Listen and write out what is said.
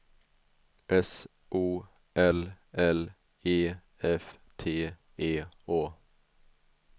S O L L E F T E Å